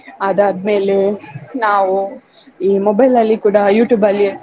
ಅದಾದ್ಮೇಲೆ ನಾವು ಈ mobile ಅಲ್ಲಿ ಕೂಡ YouTube ಅಲ್ಲಿಯೂ.